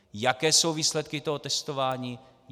Jaké jsou výsledky tohoto testování?